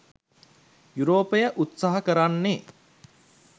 යුරෝපය උත්සහ කරන්නේ